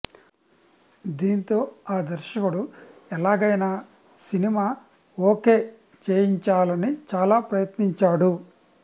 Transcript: దీంతో ఆ దర్శకుడు ఎలాగైనా సినిమా ఒకే చేయించాలని చాలా ప్రయత్నించాడు